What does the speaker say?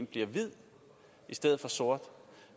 bliver hvid i stedet for sort